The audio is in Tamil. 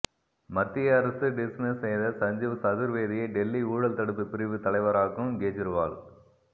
மத்திய அரசு டிஸ்மிஸ் செய்த சஞ்சீவ் சதுர்வேதியை டெல்லி ஊழல் தடுப்பு பிரிவு தலைவராக்கும் கெஜ்ரிவால்